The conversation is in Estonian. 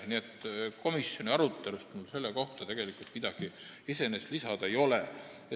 Nii et komisjoni arutelust mul midagi selle kohta iseenesest lisada ei ole.